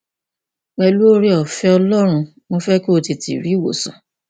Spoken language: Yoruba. pẹlú ooreọfẹ ọlọrun mo fẹ kí o tètè rí ìwòsàn